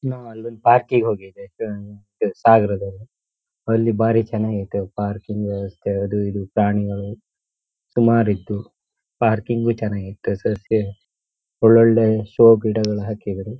ನಾ ಅಲ್ಲೊಂದ್ ಪಾರ್ಕ್ ಕಿಗ್ ಹೋಗಿದ್ದೆ ಸಾಗರದಲ್ಲಿ ಅಲ್ಲಿ ಭಾರಿ ಚನಾಗೈತೆ ಪಾರ್ಕಿಂಗ್ ವ್ಯವಸ್ಥೆ ಅದು ಇದು ಪ್ರಾಣಿಗಳು ಸುಮಾರಿತ್ತು ಪಾರ್ಕಿಂಗ್ ಗು ಚನ್ನಾಗಿತ್ತು ಸಸ್ಯ ಒಳ್ ಒಳ್ಳೆ ಶೋ ಗಿಡಗಳ ಹಾಕಿದ್ರು .